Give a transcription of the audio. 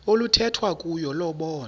oluthethwa kuyo lobonwa